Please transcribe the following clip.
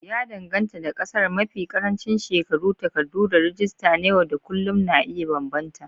Ya danganta da ƙasar, mafi ƙarancin shekaru, takardu, da rajista na yau da kullun na iya bambanta.